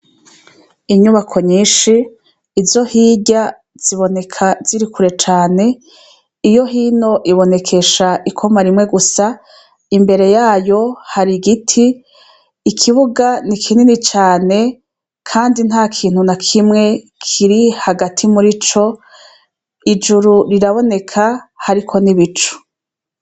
Inyubako nyinshi izo hirya ziboneka ziri kure cane iyo hino ibonekesha ikoma rimwe gusa imbere yayo har'igiti ikibuga ni kinini cane kandi hagati Murico ijuru riraboneka hariko n'ibicu.